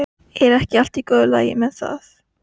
Er ekki allt í góðu lagi með það?